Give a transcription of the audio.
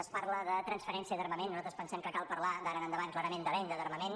es parla de transferència d’armament nosaltres pensem que cal parlar d’ara endavant clarament de venda d’armament